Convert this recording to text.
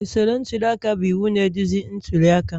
Usoro ntuli aka bụ iwu na-eduzi ntuli aka